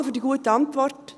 Danke für die gute Antwort.